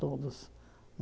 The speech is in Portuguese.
Todos.